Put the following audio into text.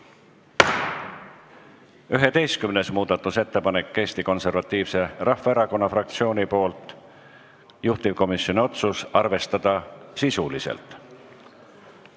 11. muudatusettepanek Eesti Konservatiivse Rahvaerakonna fraktsioonilt, juhtivkomisjoni otsus: arvestada sisuliselt.